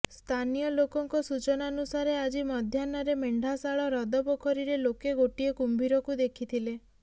ସ୍ଥାନୀୟ ଲୋକଙ୍କ ସୂଚନାନୁସାରେ ଆଜି ମଧ୍ୟାହ୍ନରେ ମେଣ୍ଢାଶାଳ ହ୍ରଦ ପୋଖରୀରେ ଲୋକେ ଗୋଟିଏ କୁମ୍ଭୀରକୁ ଦେଖିଥିଲେ